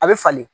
A bɛ falen